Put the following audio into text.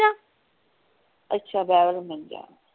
ਅੱਛਾ ਵੇਵਲਮਨਜਾ।